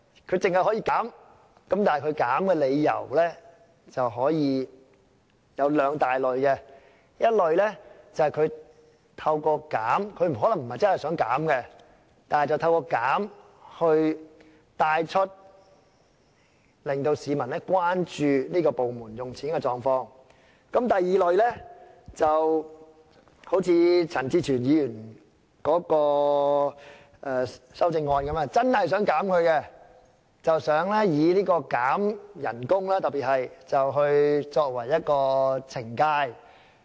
同事要求減少開支的理由可分為兩大類，一類是透過減少開支——可能他們不是真的想減少的——但希望透過提出削減開支，令市民關注有關部門支出的狀況；另一類則好像陳志全議員的修正案般，是真的想減少開支，特別是想以削減薪金作為懲戒。